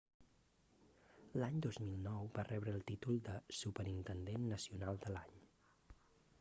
l'any 2009 va rebre el títol de superintendent nacional de l'any